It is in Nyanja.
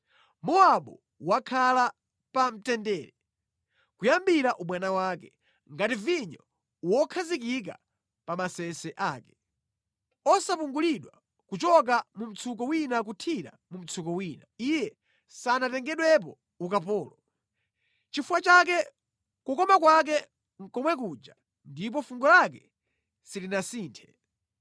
“Mowabu wakhala pa mtendere kuyambira ubwana wake, ngati vinyo wokhazikika pa masese ake, osapungulidwa kuchoka mu mtsuko wina kuthira mu mtsuko wina; iye sanatengedwepo ukapolo. Nʼchifukwa chake kukoma kwake nʼkomwe kuja ndipo fungo lake silinasinthe.